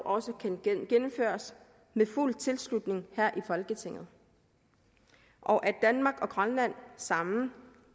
også kan gennemføres med fuld tilslutning her i folketinget og at danmark og grønland sammen